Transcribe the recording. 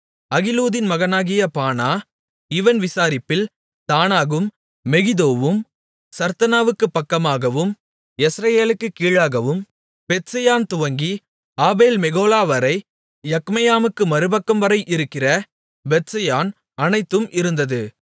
அகிலூதின் மகனாகிய பானா இவன் விசாரிப்பில் தானாகும் மெகிதோவும் சர்த்தனாவுக்குப் பக்கமாகவும் யெஸ்ரயேலுக்குக் கீழாகவும் பெத்செயான்துவங்கி ஆபேல் மெகொலாவரை யக்மெயாமுக்கு மறுபக்கம்வரை இருக்கிற பெத்செயான் அனைத்தும் இருந்தது